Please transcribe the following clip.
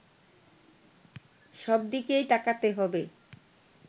সব দিকেই তাকাতে হবে